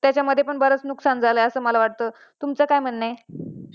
त्याच्या मध्ये पण बराच नुकसान झालाय असं मला वाटत, तुमचं काय म्हणणं आहे?